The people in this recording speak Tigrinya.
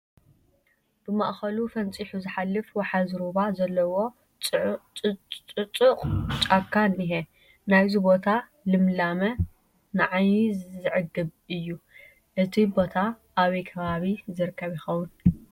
ብማእኸሉ ፈንፂሑ ዝሓልፍ ውሓዚ ሩባ ዘለዎ ፅፁቕ ጫካ እኒሀ፡፡ ናይዚ ቦታ ልምላመ ንዓይኒ ዘፅግብ እዩ፡፡ እዚ ቦታ ኣበይ ከባቢ ዝርከብ ይኸውን?